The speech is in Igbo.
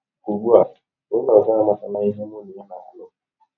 Ugbu a, ọnye ọzọ amatala ihe mụ na ya na - alụ.